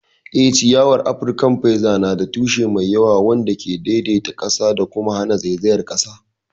Eh, ciyawar Afirkan feather na da tushe mai yawa wanda ke daidaita ƙasa da kuma hana zaizayar ƙasa.